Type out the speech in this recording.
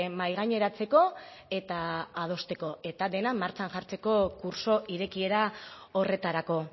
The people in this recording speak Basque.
mahaigaineratzeko eta adosteko eta dena martxan jartzeko kurtso irekiera horretarako